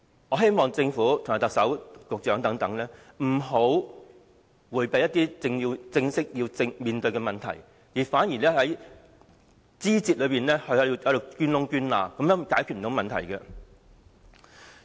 我希望政府、特首和局長等不要迴避必須正視的問題，不要在枝節中鑽空子，這樣是無法解決問題的。